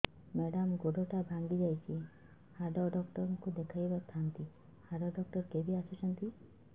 madam ଗୋଡ ଟା ଭାଙ୍ଗି ଯାଇଛି ହାଡ ଡକ୍ଟର ଙ୍କୁ ଦେଖାଇ ଥାଆନ୍ତି ହାଡ ଡକ୍ଟର କେବେ ଆସୁଛନ୍ତି